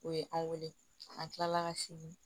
O ye an wele an kilala ka segin